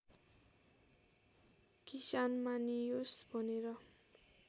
किसान मानियोस् भनेर